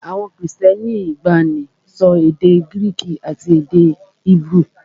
Àwọn Kristẹni ìgbàanì ń sọ èdè Gíríìkì àti èdè Hébérù